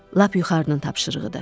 Lap yuxarının tapşırığıdır.